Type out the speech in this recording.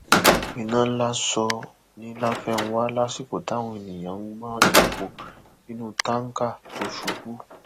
iná ńlá sọ ni láfẹnwà lásìkò táwọn èèyàn ń gbọn epo nínú táǹkà tó ṣubú